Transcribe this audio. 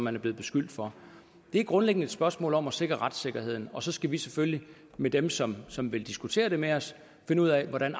er blevet beskyldt for det er grundlæggende et spørgsmål om at sikre retssikkerheden og så skal vi selvfølgelig med dem som som vil diskutere det med os finde ud af hvordan